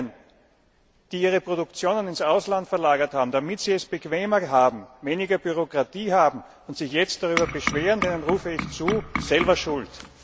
Denjenigen, die ihre Produktionen ins Ausland verlagert haben, damit sie es bequemer und weniger Bürokratie haben, und sich jetzt darüber beschweren, rufe ich zu Selber schuld!